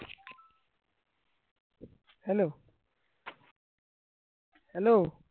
hello hello